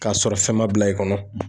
K'a sɔrɔ fɛn ma bila i kɔnɔ